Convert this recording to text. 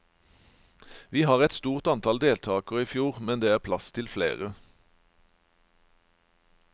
Vi var et stort antall deltakere i fjor, men det er plass til flere.